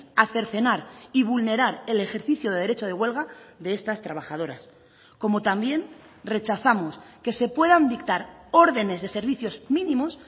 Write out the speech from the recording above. a cercenar y vulnerar el ejercicio de derecho de huelga de estas trabajadoras como también rechazamos que se puedan dictar órdenes de servicios mínimos